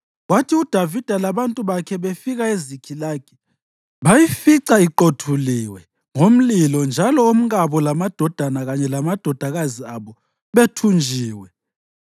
Kwathi uDavida labantu bakhe befika eZikhilagi, bayifica iqothulwe ngomlilo njalo omkabo lamadodana kanye lamadodakazi abo bethunjiwe.